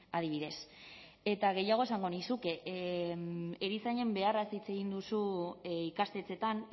adibidez eta gehiago esango nizuke erizainen beharraz hitz egin duzu ikastetxeetan